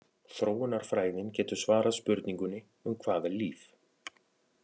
Þróunarfræðin getur svarað spurningunni um hvað er líf?